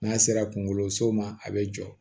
N'a sera kunkoloso ma a bɛ jɔ